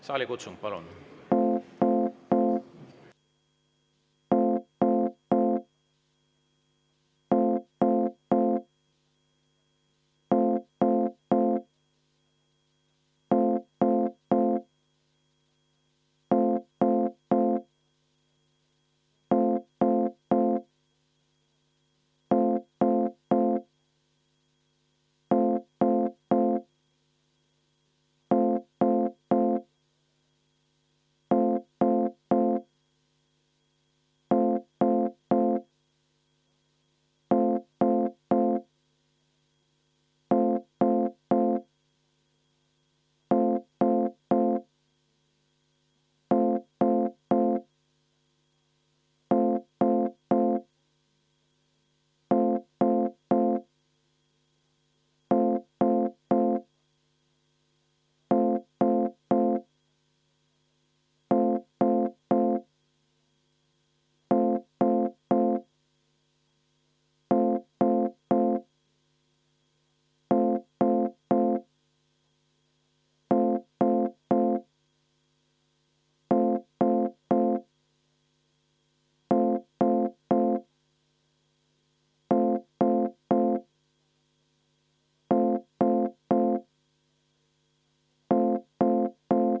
Saalikutsung, palun!